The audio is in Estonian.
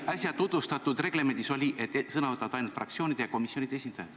Äsja tutvustatud reglemendis oli öeldud, et sõna saavad fraktsioonide ja komisjonide esindajad.